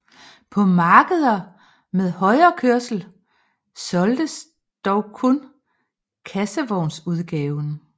På markeder med højrekørsel solgtes dog kun kassevognsudgaven